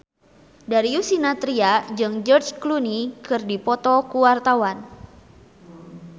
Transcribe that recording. Darius Sinathrya jeung George Clooney keur dipoto ku wartawan